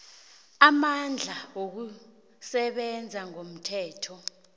amandla wokusebenza ngomthetho